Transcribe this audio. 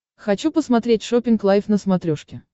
хочу посмотреть шоппинг лайф на смотрешке